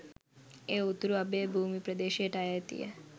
එයඋතුරු අභය භූමි ප්‍රදේශයට අයිතිය.